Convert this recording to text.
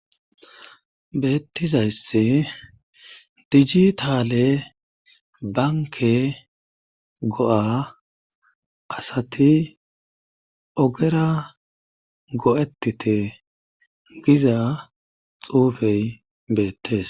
Beettiza issi dijitaale banke go'a asati ogera go'etite giza xuufey beettes.